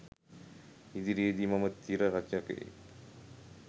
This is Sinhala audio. ඉදිරියේදී මම තිර රචකයෙක්